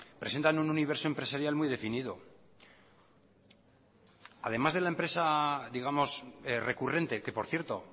presentan un universo empresarial muy definido además de la empresa digamos recurrente que por cierto